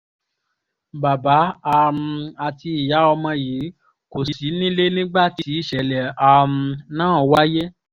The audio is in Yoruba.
bàbá um àti ìyá ọmọ yìí kò sí nílé nígbà tí ìṣẹ̀lẹ̀ um ná wáyé